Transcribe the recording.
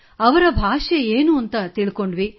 ಅವರ ಭಾಷೆ ಏನೆಂದು ತಿಳಿದೆವು